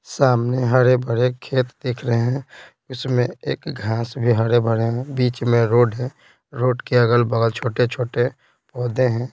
सामने हरे-बड़े खेत दिख रहे हैं उसमें एक घास भी हरे भरे हैं बीच में रोड है रोड के अगल-बगल छोटे-छोटे पौधे हैं।